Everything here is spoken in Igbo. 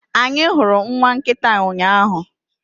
Anyị hụrụ nwa nkịta ụnyaahụ